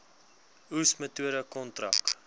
oes metode kontrak